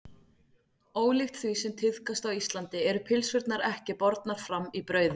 Ólíkt því sem tíðkast á Íslandi eru pylsurnar ekki bornar fram í brauði.